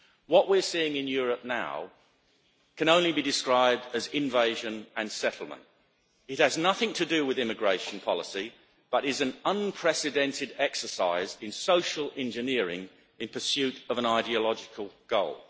What we are seeing in Europe now can only be described as invasion and settlement it has nothing to do with immigration policy, but is an unprecedented exercise in social engineering in pursuit of an ideological goal.